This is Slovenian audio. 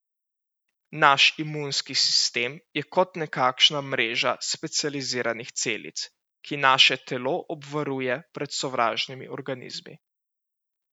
Naš imunski sistem je kot nekakšna mreža specializiranih celic, ki naše telo obvaruje pred sovražnimi organizmi.